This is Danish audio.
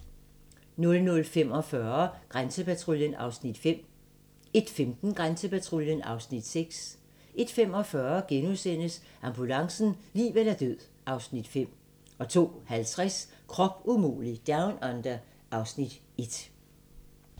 00:45: Grænsepatruljen (Afs. 5) 01:15: Grænsepatruljen (Afs. 6) 01:45: Ambulancen - liv eller død (Afs. 5)* 02:50: Krop umulig Down Under (Afs. 1)